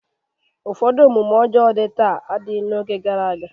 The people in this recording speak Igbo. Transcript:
Ụfọdụ omume ọjọọ dị taa adịghị n'oge gara aga.